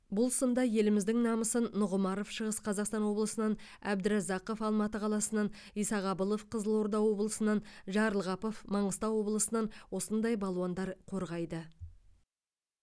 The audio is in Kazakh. бұл сында еліміздің намысын нұғымаров шығыс қазақстан облысынан әбдіразақов алматы қаласынан исағабылов қызылорда облысынан жарылғапов маңғыстау облысынан осындай балуандар қорғайды